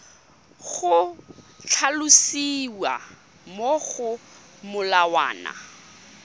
go tlhalosiwa mo go molawana